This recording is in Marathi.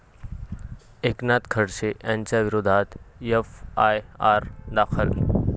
एकनाथ खडसे यांच्याविरोधात एफआयआर दाखल